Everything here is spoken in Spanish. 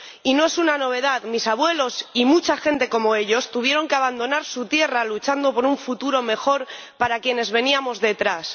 Y no es una novedad mis abuelos y mucha gente como ellos tuvieron que abandonar su tierra para luchar por un futuro mejor para quienes veníamos detrás.